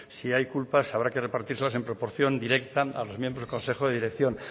si hay culpas habrá que repartírselas en proporción directa a los miembros del consejo de dirección